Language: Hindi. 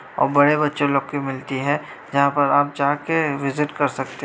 और बड़े बच्चे लोग की भी मिलती है जहां पर आप जाकर विजिट कर सकते हैं।